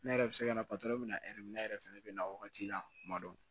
Ne yɛrɛ bɛ se ka na bɛ ne yɛrɛ fɛnɛ bɛ na wagati la kuma dɔ